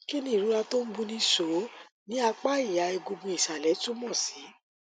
kí ni ìrora tó ń buni so ní apá ìha egungun ìsàlẹ túmọ sí